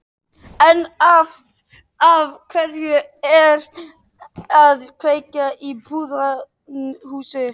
En af hverju að kveikja í pútnahúsi?